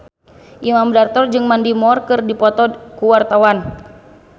Imam Darto jeung Mandy Moore keur dipoto ku wartawan